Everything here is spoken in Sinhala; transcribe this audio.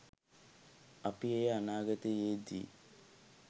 අපි එය අනාගතයේ දී